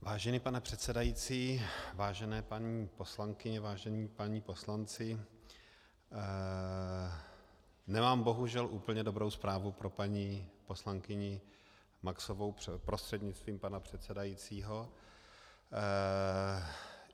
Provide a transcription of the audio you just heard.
Vážený pane předsedající, vážené paní poslankyně, vážení páni poslanci, nemám bohužel úplně dobrou zprávu pro paní poslankyni Maxovou, prostřednictvím pana předsedajícího.